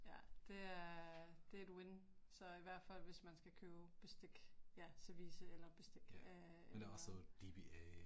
Ja det er, det er et win, så i hvert fald hvis man skal købe bestik, ja, service eller bestik øh eller